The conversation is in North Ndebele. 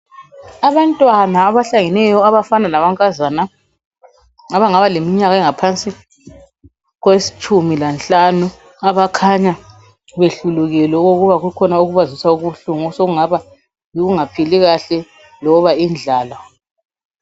Abantwana abahlangeneyo abafana lamankazana abangabaleminyaka engaphansi kwetshumi lanhlanu abakhanya behlulukelwe okokuba kukhona okubazwisa ubuhlungu osokungaba yikungaphili kahle loba indlala.